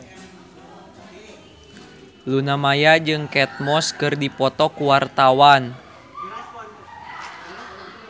Luna Maya jeung Kate Moss keur dipoto ku wartawan